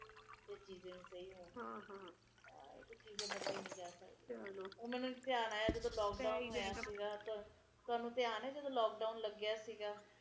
ਤਿੰਨ ਮਹੀਨੇ ਰਹਿੰਦੀਆਂ ਬਰਸਾਤ ਕਿਸੇ ਵੀ ਆ ਜਾਂਦੇ ਹੈ ਪਤਾ ਨੀ ਹੁੰਦਾ ਗਰਮੀ ਅੱਗੇ ਮਈ ਤੋਂ ਸ਼ੁਰੂ ਹੁੰਦੀ ਸੀ ਤੇ ਅਗਸਤ ਵਿਚ ਖਤਮ ਹੋ ਜਾਂਦੇ ਸੀ